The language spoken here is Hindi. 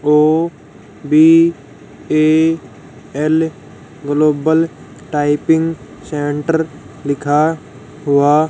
O B A L global typing centre लिखा हुआ।